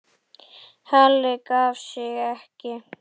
Halli gaf sig ekki.